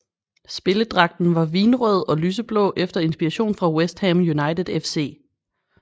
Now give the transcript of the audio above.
Spilledragten var vinrød og lyseblå efter inspiration fra West Ham United FC